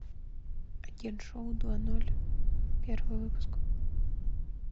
агент шоу два ноль первый выпуск